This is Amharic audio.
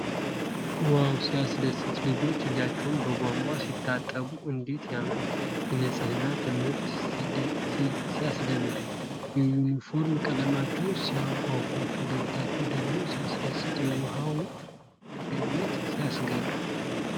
ዋው! ሲያስደስት! ልጆች እጃቸውን በቧንቧ ሲታጠቡ እንዴት ያምራል! የንፅህና ትምህርት ሲያስደምም! የዩኒፎርም ቀለማቸው ሲያጓጓ! ፈገግታቸው ደግሞ ሲያስደስት! የውሃው መገኘት ሲያስገርም!